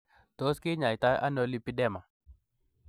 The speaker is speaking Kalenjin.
Tos kinyaita ono lipedema?